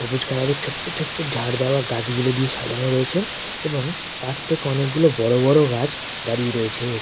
সবুজ কালার -এর ছোট্ট ছোট্ট ঝাড় দেওয়া গাছগুলো দিয়ে সাজানো রয়েছে এবং পাস থেকে অনেকগুলো বড় বড় গাছ দাঁড়িয়ে রয়েছে।